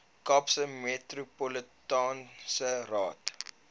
kaapse metropolitaanse raad